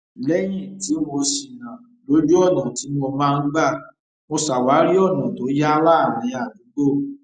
léyìn tí mo ṣìnà lójú ọnà tí mo máa n gbà mo ṣàwárí ọnà tó yá láàárín àdúgbò